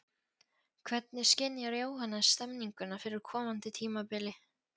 Hvernig skynjar Jóhannes stemninguna fyrir komandi tímabili?